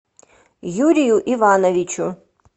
юрию ивановичу